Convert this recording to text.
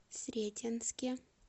сретенске